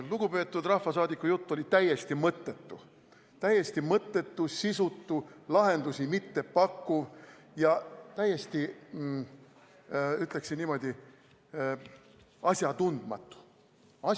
Lugupeetud rahvasaadiku jutt oli täiesti mõttetu, sisutu, lahendusi mittepakkuv ja täiesti, ütleksin niimoodi: asjatundmatu.